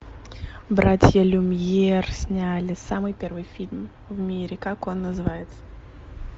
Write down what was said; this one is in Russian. братья люмьер сняли самый первый фильм в мире как он называется